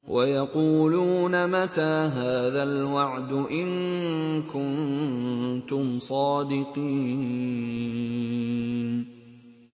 وَيَقُولُونَ مَتَىٰ هَٰذَا الْوَعْدُ إِن كُنتُمْ صَادِقِينَ